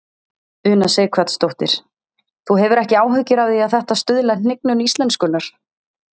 Una Sighvatsdóttir: Þú hefur ekki áhyggjur af því að þetta stuðli að hnignun íslenskunnar?